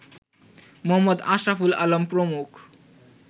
মুহম্মদ আশরাফুল আলম প্রমুখ